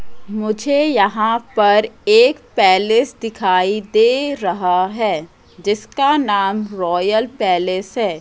मुझे यहां पर एक पैलेस दिखाई दे रहा है जिसका नाम रॉयल पैलेस है।